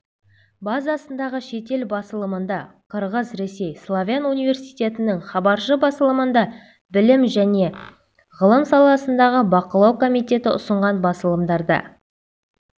базасындағы шетел басылымында қырғыз-ресей славян университетінің хабаршы басылымында білім және ғылым саласындағы бақылау комитеті ұсынған басылымдарда